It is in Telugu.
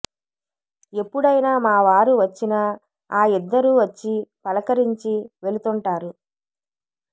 ఎప్పుడైనా మా వారు వచ్చినా ఆ ఇద్దరు వచ్చి పలకరించి వెళుతుంటారు